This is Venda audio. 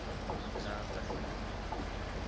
dzaṱa